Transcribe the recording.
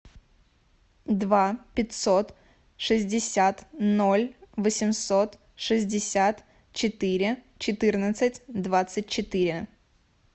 два пятьсот шестьдесят ноль восемьсот шестьдесят четыре четырнадцать двадцать четыре